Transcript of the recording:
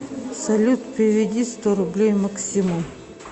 салют переведи сто рублей максиму